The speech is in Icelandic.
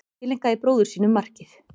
Tileinkaði bróður sínum markið